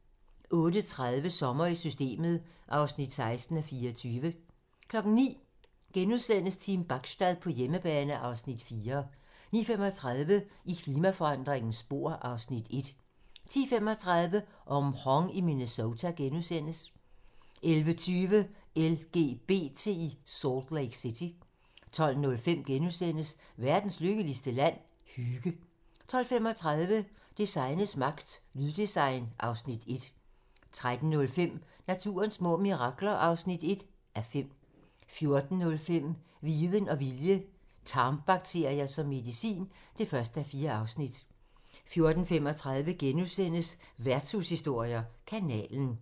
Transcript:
08:30: Sommer i Systemet (16:24) 09:00: Team Bachstad på hjemmebane (Afs. 4)* 09:35: I klimaforandringernes spor (Afs. 1) 10:35: Mhong i Minnesota * 11:20: LGBT i Salt Lake City 12:05: Verdens lykkeligste land? - Hygge * 12:35: Designets magt - Lyddesign (Afs. 1) 13:05: Naturens små mirakler (1:5) 14:05: Viden og vilje - tarmbakterier som medicin (1:4) 14:35: Værtshushistorier: Kanalen *